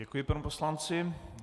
Děkuji panu poslanci.